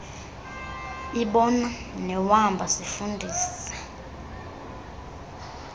ibona newamba sifundisa